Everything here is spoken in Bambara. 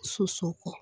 Soso kɔ